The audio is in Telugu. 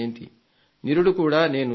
నిరుడు కూడా నేను చెప్పాను